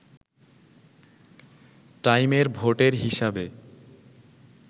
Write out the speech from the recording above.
টাইমের ভোটের হিসাবে